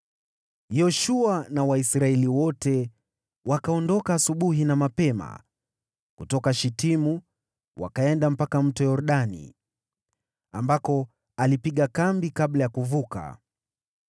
Yoshua na Waisraeli wote wakaondoka asubuhi na mapema kutoka Shitimu, wakaenda mpaka Mto Yordani, ambako walipiga kambi kabla ya kuvuka.